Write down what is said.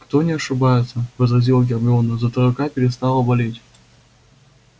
кто не ошибается возразила гермиона зато рука перестала болеть